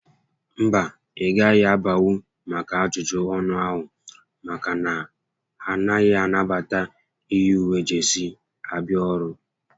Mba, ị gaghị abanwu maka ajụjụ ọnụ ahụ maka na ha anaghị anabata iyi uwe jesii abịa ọrụ